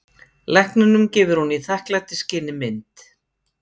Lækninum gefur hún í þakklætisskyni mynd.